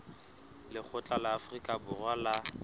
lekgotla la afrika borwa la